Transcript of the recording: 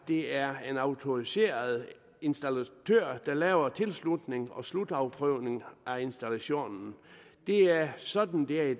det er en autoriseret installatør der laver tilslutning og slutafprøvning af installationer det er sådan det er i